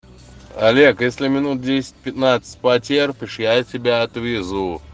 олег если минут десять пятнадцать потерпишь я тебя отвезу